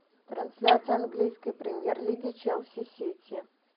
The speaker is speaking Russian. трансляция английской премьер лиги челси сити